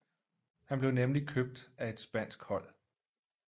Han blev nemlig købt af et spansk hold